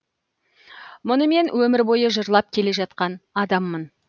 мұны мен өмір бойы жырлап келе жатқан адаммын